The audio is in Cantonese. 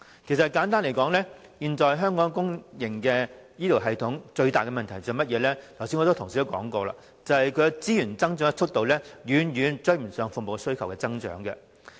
簡單來說，現時香港公營醫療系統最大的問題，正如很多同事剛才所說，就是資源的增幅遠追不上服務需求的增長。